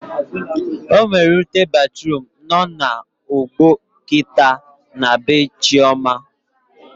Ọnwere ute batruum nọ na ọgbọ kịta na bee Chioma